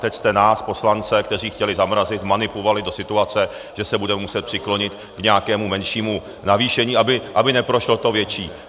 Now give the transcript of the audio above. Teď jste nás, poslance, kteří chtěli zamrazit, vmanipulovali do situace, že se budeme muset přiklonit k nějakému menšímu navýšení, aby neprošlo to větší.